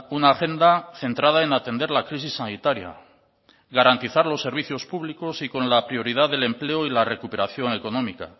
una agenda centrada en atender la crisis sanitaria garantizar los servicios públicos y con la prioridad del empleo y la recuperación económica